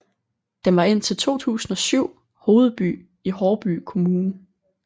Den var indtil 2007 hovedby i Haarby Kommune